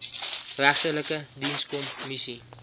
regterlike dienskom missie